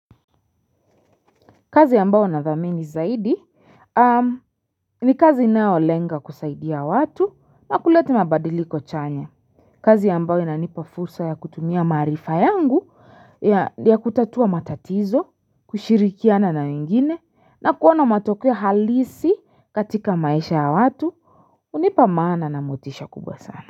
Kazi ambayo nathamini zaidi ni kazi inayoolenga kusaidia watu na kuleta mabadiliko chanya. Kazi ambayo inanipa fursa ya kutumia maarifa yangu ya kutatua matatizo kushirikiana na wengine na kuona matokeo halisi katika maisha ya watu hunipa maana na motisha kubwa sana.